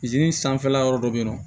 zeni sanfɛla yɔrɔ dɔ be yen nɔ